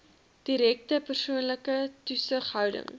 direkte persoonlike toesighouding